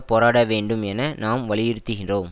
போராட வேண்டும் என நாம் வலியுறுத்துகிறோம்